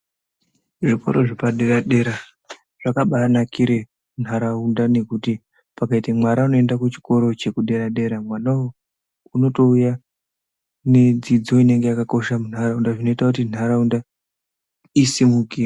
Zvikora zvepadera zvakabanakira nharaunda pakaita mwana unoenda kuchikora chepa dera dera mwana uyu unotouya nedzidzo inenge yakakosha munharaunda zvinoita kuti nharaunda isimukire.